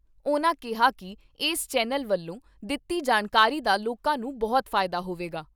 ਉਨ੍ਹਾਂ ਕਿਹਾ ਕਿ ਏਸ ਚੈਨਲ ਵੱਲੋਂ ਦਿੱਤੀ ਜਾਣਕਾਰੀ ਦਾ ਲੋਕਾਂ ਨੂੰ ਬਹੁਤ ਫਾਇਦਾ ਹੋਵੇਗਾ।